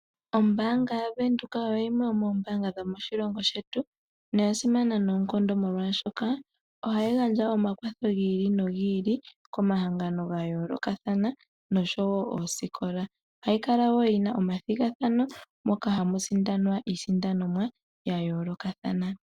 Ombanga yaVenduka oyo yimwe yomoombanga dhomoshilongo shetu noya simana noonkondo molwashoka ohayi gandja omakwatho giili nogi ili komahangano ga yoolokathana osho woo oosikola. Ohayi kala woo yina omathigathano moka hamu sindanwa iisindanomwa yayoolokathana.